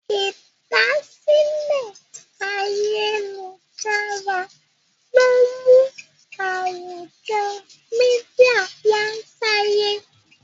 ìdásílẹ̀ Ayélujára lọ mú àwùjọ media wá sáyé.